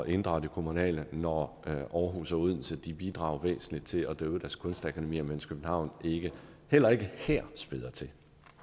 inddrage det kommunale når aarhus og odense bidrager væsentligt til at drive deres kunstakademier mens københavn heller ikke her spæder til